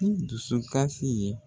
ni dusukasi ye